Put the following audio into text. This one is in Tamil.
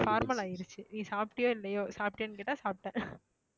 formal ஆயிருச்சு நீ சாப்பிட்டயோ இல்லையோ சாப்பிட்டியான்னு கேட்டா சாப்பிட்டேன்